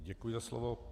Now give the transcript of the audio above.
Děkuji za slovo.